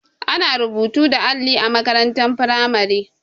Ana rubutu da alli a makarantar firamare.